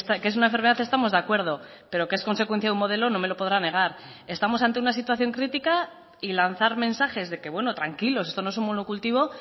que es una enfermedad estamos de acuerdo pero que es consecuencia de un modelo no me lo podrá negar estamos ante una situación crítica y lanzar mensajes de que bueno tranquilos esto no es un monocultivo